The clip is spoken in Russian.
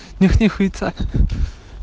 нюхни хуйца